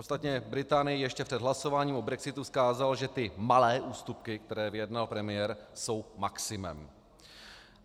Ostatně Británii ještě před hlasováním o brexitu vzkázal, že ty malé ústupky, které vyjednal premiér, jsou maximem.